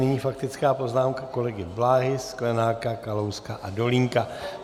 Nyní faktická poznámka kolegy Bláhy, Sklenáka, Kalouska a Dolínka.